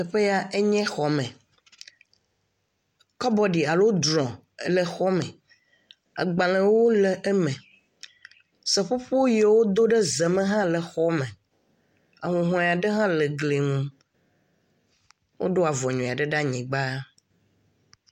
Teƒe ya enye xɔme. Kɔbɔɖi alo drɔm le xɔme. Agbalẽwo le eme. Seƒoƒo ye wodo ɖe zeme hã le xɔme. Ahũhɔe aɖe hã le gli ŋu. Woɖo avɔ nyui aɖe ɖa nyi gba.